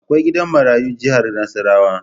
Akwai gidan marayun jihar Nasarawa.